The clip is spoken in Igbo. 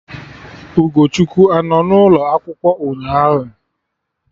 Ugochukwu anọ n'ụlọ akwụkwọ ụnyaahụ?